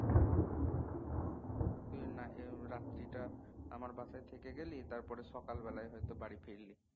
তুই না হয় রাত্রি টা আমার বাসায় থেকে গেলি তারপর সকাল বেলায় হয়তো বাড়ী ফিরলি